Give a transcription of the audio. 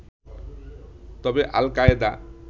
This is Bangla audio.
তবে আল-কায়েদা